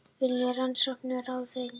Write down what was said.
Vilja rannsókn á ráðuneytum